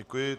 Děkuji.